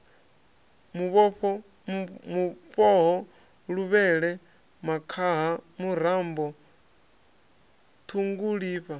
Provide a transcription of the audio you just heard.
mufhoho luvhele makhaha murambo ṱhungulifha